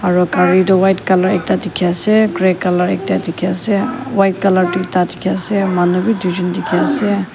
aro gari toh white colour ekta dikhi ase grey colour ekta dikhi ase white colour duita dikhi ase manu wi duijun dikhi ase.